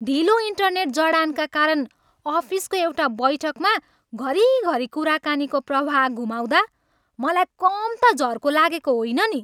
ढिलो इन्टरनेट जडानका कारण अफिसको एउटा बैठकमा घरी घरी कुराकानीको प्रवाह गुमाउँदा मलाई कम ता झर्को लागेको होइन नि।